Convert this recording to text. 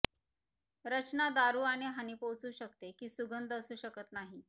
रचना दारू आणि हानी पोहोचवू शकते की सुगंध असू शकत नाही